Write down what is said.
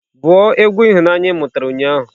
Bụ egwu ihunanya ị mụtara ụnyaahụ!